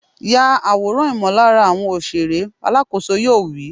Ya àwòrán ìmọ̀lára àwọn òṣèré! Alákòóso yoo wí.